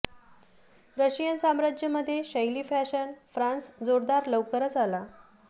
Russian साम्राज्य मध्ये शैली फॅशन फ्रान्स जोरदार लवकरच आला